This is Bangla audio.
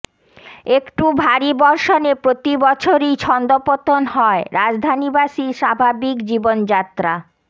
একটু ভারী বর্ষণে প্রতি বছরই ছন্দপতন হয় রাজধানীবাসীর স্বাভাবিক জীবনযাত্রা